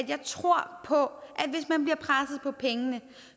jeg tror på at på pengene